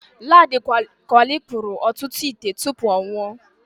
Ladi Kwali kpụrụ ọtụtụ ite tụpụ ọ nwụọ.